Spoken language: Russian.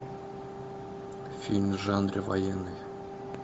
фильм в жанре военный